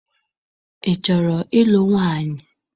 Ị chọrọ ịlụ nwaanyị?